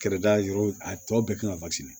Kɛrɛda yɔrɔ a tɔ bɛɛ kan ka basi de